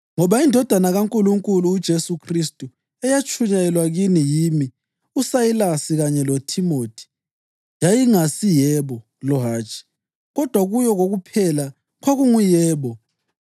Ngoba iNdodana kaNkulunkulu, uJesu Khristu, eyatshunyayelwa kini yimi, uSayilasi kanye loThimothi, yayingasi “Yebo” lo “Hatshi,” kodwa kuyo kokuphela kwakungu “Yebo.”